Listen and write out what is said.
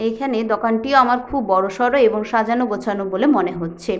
এইখানে দকানটিও আমার খুব বড়সড় এবং সাজানো গোছানো বলে মনে হচ্ছে।